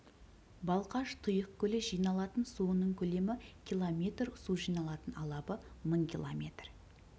балқаш тұйық көлі жиналатын суының көлемі километр су жиналатын алабы мың километр